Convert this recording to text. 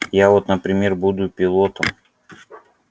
я вот например буду пилотом